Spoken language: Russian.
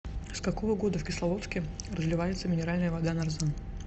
с какого года в кисловодске разливается минеральная вода нарзан